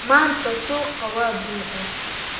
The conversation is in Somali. Maanta suuqa waa buuxaa